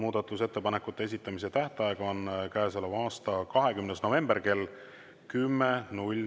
Muudatusettepanekute esitamise tähtaeg on käesoleva aasta 20. november kell 10.